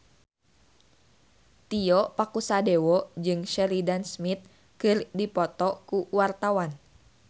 Tio Pakusadewo jeung Sheridan Smith keur dipoto ku wartawan